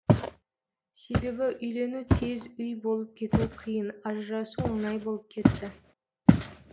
себебі үйлену тез үй болып кету қиын ажырасу оңай болып кетті